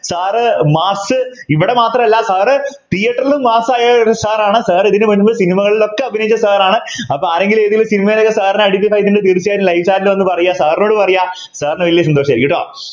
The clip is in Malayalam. sir mass ഇവിടെ മാത്രമല്ല Sir Theatre ലും mass ആയ ഒരു sir ആണ് sir ഇതിനുവേണ്ടി Cinema കളിലൊക്കെ അഭിനയിച്ച Sir ആണ് അപ്പൊ ആരെങ്കിലും ഏതെങ്കിലും സിനിമയിലൊക്കെ Sir നെ identify തീർച്ചയായും live chat ൽ ഒന്ന് പറയുക Sir നോട് പറയുക sir നു വല്യ സന്തോഷായിരിക്കും ട്ടോ